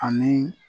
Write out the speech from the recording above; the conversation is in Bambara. Ani